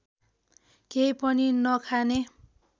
केही पनि नखाने